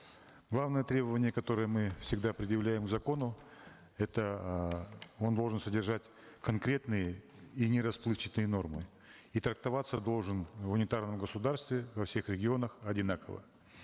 главное требование которое мы всегда предъявляем к закону это эээ он должен содержать конкретные и нерасплывчатые нормы и трактоваться должен в унитарном государстве во всех регионах одинаково